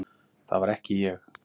ÞAÐ VAR EKKI ÉG!